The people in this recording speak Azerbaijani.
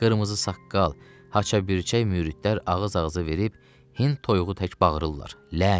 Qırmızı saqqal, haça bürçək müridlər ağız-ağıza verib Hind toyuğu tək bağırırlar: lənət!